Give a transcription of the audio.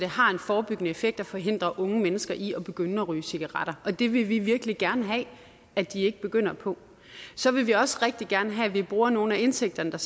har en forebyggende effekt og forhindrer unge mennesker i at begynde at ryge cigaretter det vil vi virkelig gerne have at de ikke begynder på så vil vi også rigtig gerne have at vi bruger nogle af indtægterne der